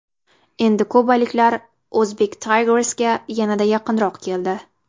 Endi kubaliklar Uzbek Tigers’ga yanada yaqinroq keldi.